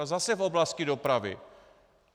A zase v oblasti dopravy.